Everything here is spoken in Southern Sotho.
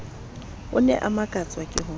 ne a makatswa ke ho